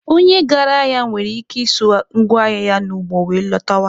Onye gara ahịa nwere ike iso ngwa ahịa ya n'ụgbọ were lọtawa.